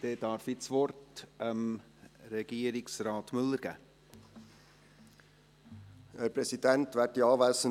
Dann darf ich Regierungsrat Müller das Wort erteilen.